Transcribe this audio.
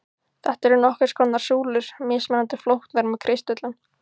Þetta eru nokkurs konar súlur, mismunandi flóknar með kristöllum.